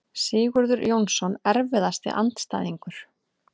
Sigurður Jónsson Erfiðasti andstæðingur?